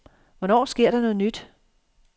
Hvornår sker der noget nyt?